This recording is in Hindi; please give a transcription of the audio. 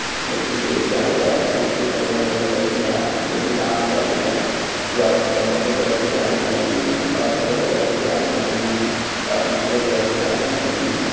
एक ईस्टेज बना हुआ है जिसके ऊपर बहुत सारी लड़कियां है जो की डांस कर रही है वह संतरे कलर की साड़ी पहनी हुई है और हरे कलर की साड़ी पहनी हुई है और नीले कलर की साड़ी पहनी हुई है।